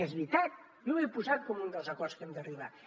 que és veritat jo ho he posat com un dels acords a què hem d’arribar